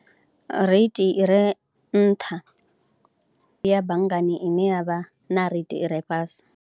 Reithi i re nṱha ya banngani ine ya vha na reithi i re fhasi.